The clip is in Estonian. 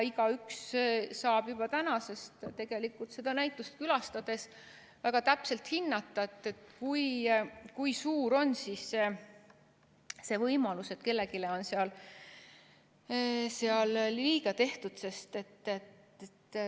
Igaüks saab juba tänasest seda näitust külastades väga täpselt hinnata, kui suur on see võimalus, et kellelegi on seal liiga tehtud.